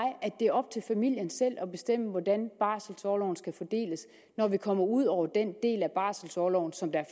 det er op til familien selv at bestemme hvordan barselorloven skal fordeles når vi kommer ud over den del af barselorloven som er